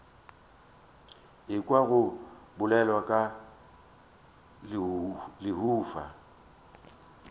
ekwa go bolelwa ka lehufa